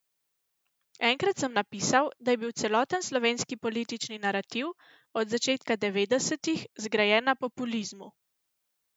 Enkrat sem napisal, da je bil celoten slovenski politični narativ od začetka devetdesetih zgrajen na populizmu.